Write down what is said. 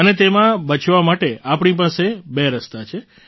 અને તેમાં બચવા માટે આપણી પાસે બે રસ્તા છે